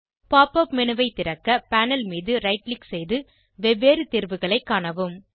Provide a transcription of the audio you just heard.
pop up menu ஐ திறக்க panel மீது ரைட் க்ளிக் செய்து வெவ்வேறு தேர்வுகளை காணவும்